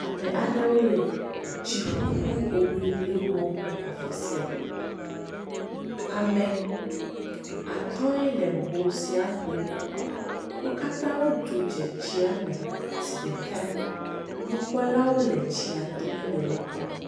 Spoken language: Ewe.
Ame aɖewo le tsiƒuƒu hoŋlilŋi wɔm le afi sia, ame atɔ̃e le ho sia ŋlim, wo katã wodzo dze tsia me zi ɖeka, nukpɔlawo le tsi to hele wo kpɔm.